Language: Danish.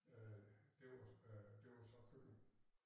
Øh det var øh det var så køkken